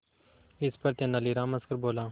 इस पर तेनालीराम हंसकर बोला